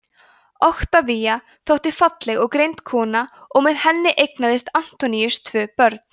oktavía þótti falleg og greind kona og með henni eignaðist antoníus tvö börn